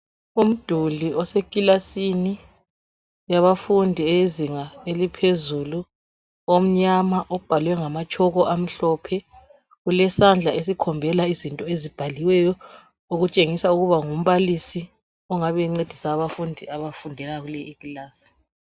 Umduli osekilasini yabafundi bezinga eliphezulu omnyama obhalwe ngama chalk amhlophe kulesandla esikhombela izinto ezibhaliweyo okutshengisa ukuba ngumbalisi ongabe encedisa abafundi abafundela kule ikilasi.